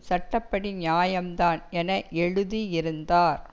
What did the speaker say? சட்ட படி நியாயம் தான் என எழுதியிருந்தார்